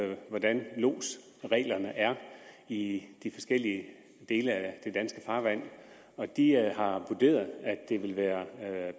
med hvordan lodsreglerne er i i de forskellige dele af det danske farvand og de har vurderet at det vil være